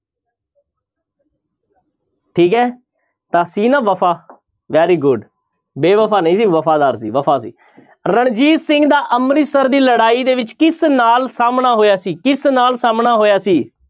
ਠੀਕ ਹੈ ਤਾਂ ਸੀ ਨਾ ਵਫ਼ਾ very good ਬੇਵਫ਼ਾ ਨਹੀਂ ਸੀ ਵਫ਼ਾਦਾਰ ਸੀ ਵਫ਼ਾ ਸੀ ਰਣਜੀਤ ਸਿੰਘ ਦਾ ਅੰਮ੍ਰਿਤਸਰ ਦੀ ਲੜਾਈ ਦੇ ਵਿੱਚ ਕਿਸ ਨਾਲ ਸਾਹਮਣਾ ਹੋਇਆ ਸੀ ਕਿਸ ਨਾਲ ਸਾਹਮਣਾ ਹੋਇਆ ਸੀ?